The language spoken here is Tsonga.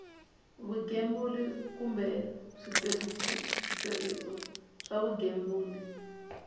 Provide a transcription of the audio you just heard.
vugembuli kumbe switirhiso swa vugembuli